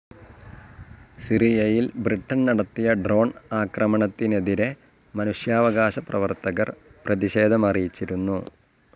സിറിയയിൽ ബ്രിട്ടൻ നടത്തിയ ഡ്രോൺ ആക്രമണത്തിനെതിരെ മനുഷ്യാവകാശ പ്രവർത്തകർ പ്രതിഷേധമറിയിച്ചിരുന്നു.